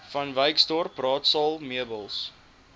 vanwyksdorp raadsaal meubels